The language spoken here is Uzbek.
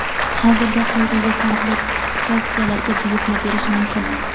Hozirda quyidagi komplektatsiyalarga buyurtma berish mumkin:.